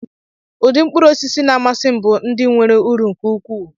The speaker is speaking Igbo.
Ụdị mkpụrụosisi na-amasị m bụ ndị nwere uru nke ukwuu